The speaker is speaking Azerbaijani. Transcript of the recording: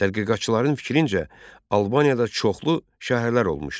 Tədqiqatçıların fikrincə, Albaniyada çoxlu şəhərlər olmuşdu.